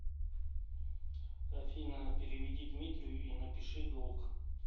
афина переведи дмитрию и напиши долг